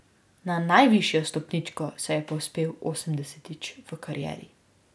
Na najvišjo stopničko se je povzpel osemdesetič v karieri.